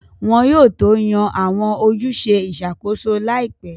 Wọn yóò tó yan Àwọn ojúṣe ìṣàkóso láìpẹ́